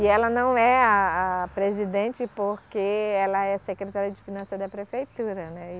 E ela não é a a presidente porque ela é secretária de finanças da prefeitura, né e.